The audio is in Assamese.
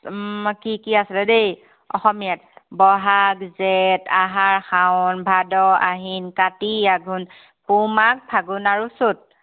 উম কি কি আছিলে দেই অসমীয়াত। বহাগ জেঠ আহাৰ শাও ভাদ আহিন কাতি আঘোণ পুহ মাঘ ফাগুণ আৰু চ'ত।